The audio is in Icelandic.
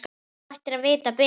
Þú ættir að vita betur.